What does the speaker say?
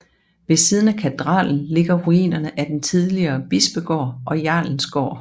Ved siden af katedralen ligger ruinerne af den tidligere bispegård og jarlens gård